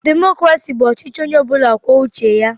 Demokraci bụ ọchịchị Onye ọbula kwụọ uche ya.